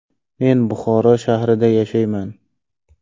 Men Buxoro shahrida yashayman.